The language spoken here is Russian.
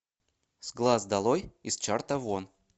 с глаз долой из чарта вон